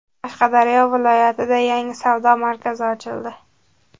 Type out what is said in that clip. Qashqadaryo viloyatida yangi savdo markazi ochildi.